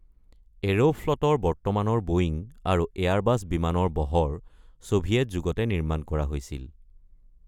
এৰোফ্লটৰ বৰ্তমানৰ বোয়িং আৰু এয়াৰবাছ বিমানৰ বহৰ ছোভিয়েট যুগতে নিৰ্মাণ কৰা হৈছিল।